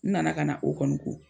N nana kana o kɔnɔ ko.